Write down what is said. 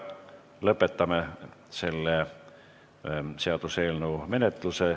Lõpetame selle seaduseelnõu menetluse.